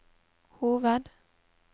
hoved